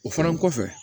O fana kɔfɛ